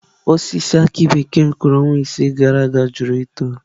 Osisi aki bekee m kụrụ ọnwa isii gara aga jụrụ ito.